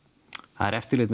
það er eftirlit